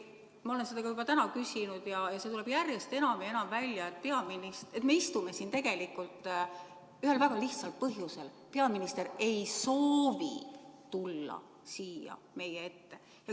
Ma olen seda juba täna küsinud ja see tuleb järjest enam ja enam välja, et me istume siin tegelikult ühel väga lihtsal põhjusel: peaminister ei soovi tulla siia meie ette.